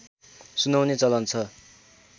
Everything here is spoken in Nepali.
सुनाउने चलन छ